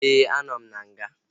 Éè, a nọ m n'nga